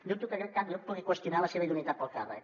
dubto que cap grup pugui qüestionar la seva idoneïtat per al càrrec